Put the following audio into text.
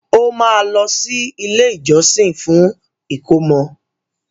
O ma lọ sí ilé ìjósìn fún ìkómọ.